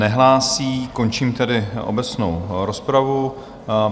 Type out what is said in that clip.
Nehlásí, končím tedy obecnou rozpravu.